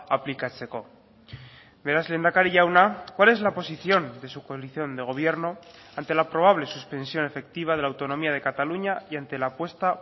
aplikatzeko beraz lehendakari jauna cuál es la posición de su coalición de gobierno ante la probable suspensión efectiva de la autonomía de cataluña y ante la apuesta